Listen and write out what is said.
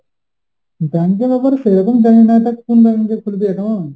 bank এর ব্যাপারে সেরকম জানিনা। তা কোন bank এ খুলবি account?